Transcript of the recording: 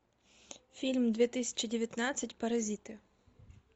фильм две тысячи девятнадцать паразиты